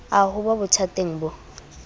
a ho ba bothateng bo